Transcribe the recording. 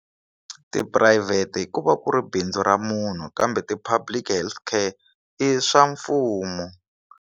Tiphurayivhete ku va ku ri bindzu ra munhu kambe ti public healthcare i swa mfumo.